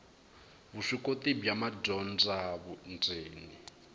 vuswikoti bya madyondza vundzeni a